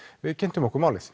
við kynntum okkur málið